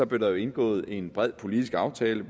blev indgået en bred politisk aftale